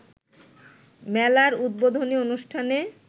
মেলার উদ্বোধনী অনুষ্ঠানে